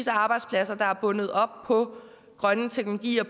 af arbejdspladser der er bundet op på grønne teknologier